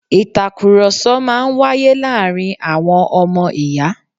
Ìtàkurọsọ̀ máa ń wáyé láàárín àwọn ọmọ ìyá